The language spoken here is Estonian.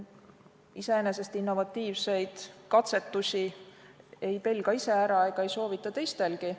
Iseenesest innovatiivseid katsetusi ei pelga ise ära ega soovita seda teha teistelgi.